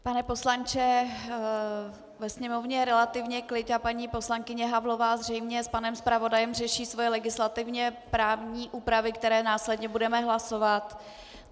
Pane poslanče, ve sněmovně je relativně klid a paní poslankyně Havlová zřejmě s panem zpravodajem řeší své legislativně právní úpravy, které následně budeme hlasovat.